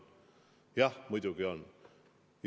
Jah, muidugi on!